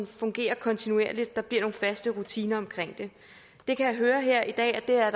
fungerer kontinuerligt der bliver nogle faste rutiner omkring det jeg kan høre her i dag at der er